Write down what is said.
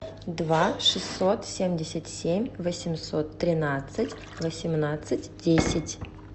два шестьсот семьдесят семь восемьсот тринадцать восемнадцать десять